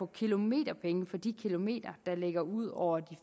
kilometerpenge for de kilometer der ligger ud over de